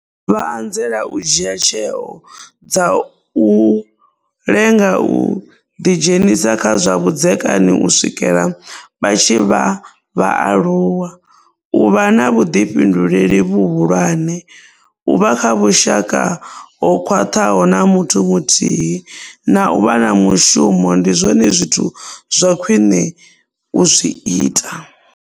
Vha anzela u dzhia tsheo dza u lenga u ḓidzhenisa kha zwa vhudzekani u swikela vha tshi vha vhaaluwa, u vha na vhuḓifhinduleli vhuhulwane, u vha kha vhushaka ho khwaṱhaho na muthu muthihi na u vha na mushumo ndi zwone zwithu zwa khwiṋe u zwi ita.